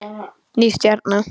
Ný stjarna